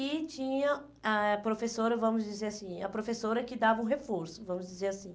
E tinha a professora, vamos dizer assim, a professora que dava um reforço, vamos dizer assim.